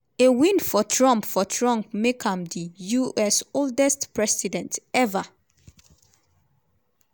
a win for trump for trump make am di us oldest president ever.